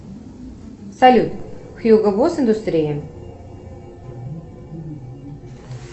салют хьюго босс индустрия